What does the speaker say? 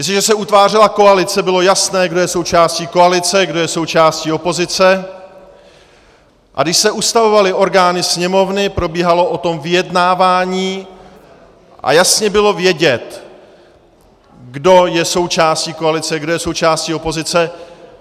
Jestliže se utvářela koalice, bylo jasné, kdo je součástí koalice, kdo je součástí opozice, a když se ustavovaly orgány Sněmovny, probíhalo o tom vyjednávání a jasně bylo vědět, kdo je součástí koalice, kdo je součástí opozice.